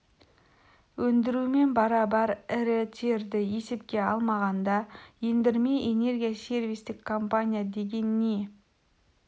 өндірумен барабар ірі терді есепке алмағанда ендірме энергия сервистік компания деген не